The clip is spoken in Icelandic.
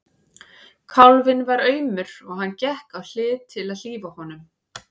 Kálfinn var aumur og hann gekk á hlið til að hlífa honum.